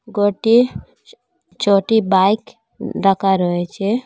গরটি ছটি বাইক রাকা রয়েচে।